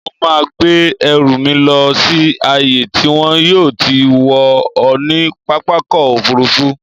Mo máa gbé ẹrù mi lọ sí ààyè tí wọn yóò ti wọ̀n ọ́n ní pápákọ̀-òfurufú.